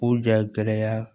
K'u jɔ gɛlɛya